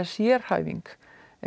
sérhæfing